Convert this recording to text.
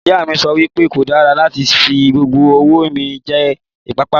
Ìyá mi sọ wípé kò dára láti fi gbogbo owó mi jẹ ìpápánu